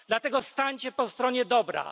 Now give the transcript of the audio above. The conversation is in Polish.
Dlatego stańcie po stronie dobra.